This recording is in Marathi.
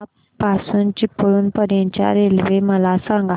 बीना पासून चिपळूण पर्यंत च्या रेल्वे मला सांगा